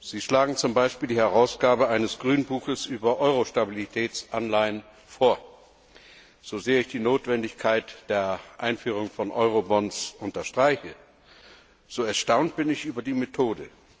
Sie schlagen zum Beispiel die Herausgabe eines Grünbuches über Eurostabilitätsanleihen vor. So sehr ich die Notwendigkeit der Einführung von Eurobonds unterstreiche, so erstaunt bin ich über die Methode.